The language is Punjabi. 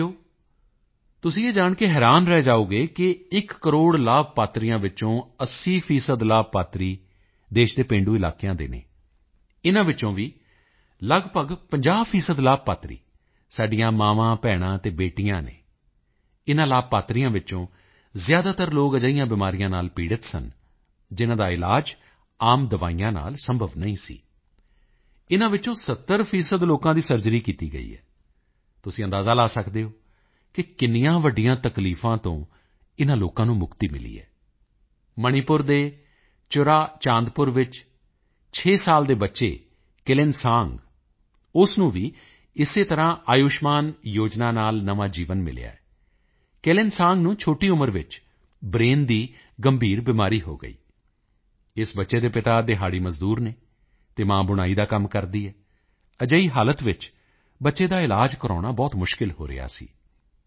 ਸਾਥੀਓ ਤੁਸੀਂ ਇਹ ਜਾਣ ਕੇ ਹੈਰਾਨ ਰਹਿ ਜਾਓਗੇ ਕਿ ਇੱਕ ਕਰੋੜ ਲਾਭਪਾਤਰੀਆਂ ਵਿੱਚੋਂ 80 ਲਾਭਪਾਤਰੀ ਦੇਸ਼ ਦੇ ਗ੍ਰਾਮੀਣ ਇਲਾਕਿਆਂ ਦੇ ਹਨ ਇਨ੍ਹਾਂ ਵਿੱਚੋਂ ਵੀ ਲਗਭਗ 50 ਲਾਭਪਾਤਰੀ ਸਾਡੀਆਂ ਮਾਵਾਂਭੈਣਾਂ ਅਤੇ ਬੇਟੀਆਂ ਹਨ ਇਨ੍ਹਾਂ ਲਾਭਪਾਤਰੀਆਂ ਵਿੱਚੋਂ ਜ਼ਿਆਦਾਤਰ ਲੋਕ ਅਜਿਹੀਆਂ ਬਿਮਾਰੀਆਂ ਨਾਲ ਪੀੜ੍ਹਤ ਸਨ ਜਿਨ੍ਹਾਂ ਦਾ ਇਲਾਜ ਆਮ ਦਵਾਈਆਂ ਨਾਲ ਸੰਭਵ ਨਹੀਂ ਸੀ ਇਨ੍ਹਾਂ ਵਿੱਚੋਂ 70 ਲੋਕਾਂ ਦੀ ਸਰਜਰੀ ਕੀਤੀ ਗਈ ਹੈ ਤੁਸੀਂ ਅੰਦਾਜ਼ਾ ਲਗਾ ਸਕਦੇ ਹੋ ਕਿ ਕਿੰਨ੍ਹੀਆਂ ਵੱਡੀਆਂ ਤਕਲੀਫ਼ਾਂ ਤੋਂ ਇਨ੍ਹਾਂ ਲੋਕਾਂ ਨੂੰ ਮੁਕਤੀ ਮਿਲੀ ਹੈ ਮਣੀਪੁਰ ਦੇ ਚੁਰਾਚਾਂਦਪੁਰ ਵਿੱਚ 6 ਸਾਲ ਦੇ ਬੱਚੇ ਕੇਲੇਨਸਾਂਗ ਉਸ ਨੂੰ ਵੀ ਇਸੇ ਤਰ੍ਹਾਂ ਆਯੁਸ਼ਮਾਨ ਯੋਜਨਾ ਨਾਲ ਨਵਾਂ ਜੀਵਨ ਮਿਲਿਆ ਹੈ ਕੇਲੇਨਸਾਂਗ ਨੂੰ ਇੰਨੀ ਛੋਟੀ ਉਮਰ ਵਿੱਚ ਬ੍ਰੇਨ ਦੀ ਗੰਭੀਰ ਬਿਮਾਰੀ ਹੋ ਗਈ ਇਸ ਬੱਚੇ ਦੇ ਪਿਤਾ ਦਿਹਾੜੀ ਮਜ਼ਦੂਰ ਹਨ ਅਤੇ ਮਾਂ ਬੁਣਾਈ ਦਾ ਕੰਮ ਕਰਦੀ ਹੈ ਅਜਿਹੀ ਹਾਲਤ ਵਿੱਚ ਬੱਚੇ ਦਾ ਇਲਾਜ ਕਰਵਾਉਣਾ ਬਹੁਤ ਕਠਿਨ ਹੋ ਰਿਹਾ ਸੀ